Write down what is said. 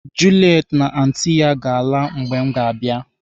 Juliet na anti ya ga-ala mgbe m ga-abịa.